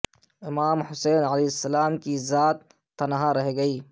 امام حسین علیہ السلام کی ذات تنہا رہ گئی